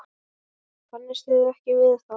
Kannist þið ekki við það?